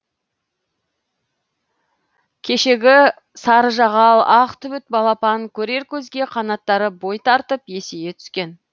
кешегі сарыжағал ақ түбіт балапан көрер көзге қанаттары бой тартып есейе түскен